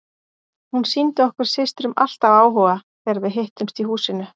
Hún sýndi okkur systrum alltaf áhuga þegar við hittumst í húsinu.